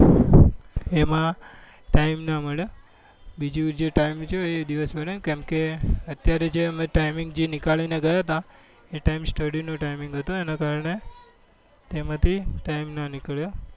એમાં time નાં મળ્યો બીજું જે time રહ્યો એ દિવસ ને કેમ કે અત્યારે જે timing જે નીકળી ને ગયા હતા એ time નો study નો timeing હતો એના કારણે એ એમાં થી time નાં નીકળ્યો